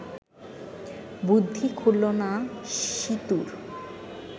বুদ্ধি খুলল না সীতুর